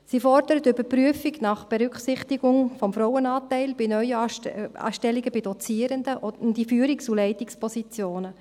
Sie fordert die Überprüfung nach Berücksichtigung des Frauenanteils bei Neuanstellungen von Dozierenden und in Führungs- und Leitungspositionen.